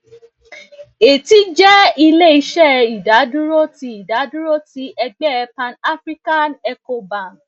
eti jẹ ileiṣẹ idaduro ti idaduro ti ẹgbẹ panafrican ecobank